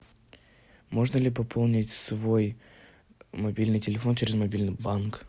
можно ли пополнить свой мобильный телефон через мобильный банк